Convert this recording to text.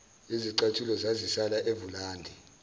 izicathulo zazisala evulandi